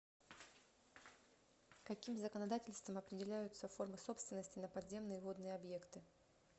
каким законодательством определяются формы собственности на подземные водные объекты